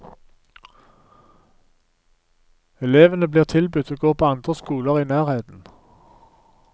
Elevene blir tilbudt å gå på andre skoler i nærheten.